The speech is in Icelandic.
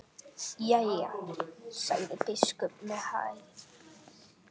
Jæja, sagði biskup með hægð.